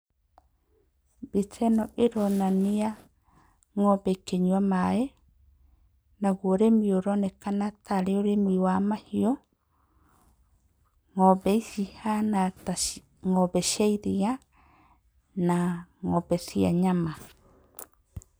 Mbica ĩno ĩronania ng'ombe ikĩnyua maaĩ, naguo ũrĩmi ũronekana ta ũrĩ ũrĩmi wa mahiũ. Ng'ombe ici cihana ta arĩ ng'ombe cia iria na ng'ombe cia nyama.